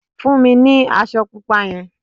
Fún mi ní aṣọ pupa yen